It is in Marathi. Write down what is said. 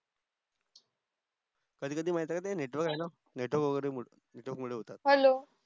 कधी कधी माहित आहे का ते network आहे ना network मुळे होत्तात